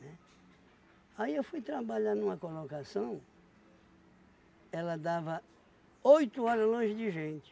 Né? Aí eu fui trabalhar numa colocação, ela dava oito horas longe de gente.